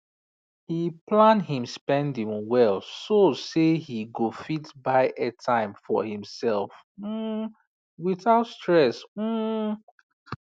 he plan him spending well so say he go fit buy airtime for himself um without stress um